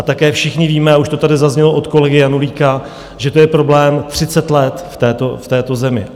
A také všichni víme, a už to tady zaznělo od kolegy Janulíka, že to je problém 30 let v této zemi.